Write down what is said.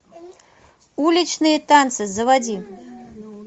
уличные танцы заводи